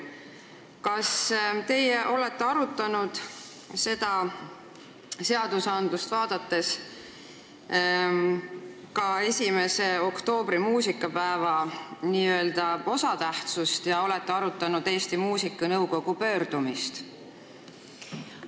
Kas te olete seda eelnõu käsitledes arvestanud ka 1. oktoobri kui muusikapäeva tähtsust ja kas te olete arutanud Eesti Muusikanõukogu pöördumist?